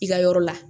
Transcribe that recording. I ka yɔrɔ la